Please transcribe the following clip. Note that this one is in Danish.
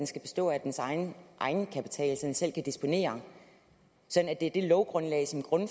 skal bestå af dens egen egenkapital så den selv kan disponere og sådan at det er det lovgrundlag som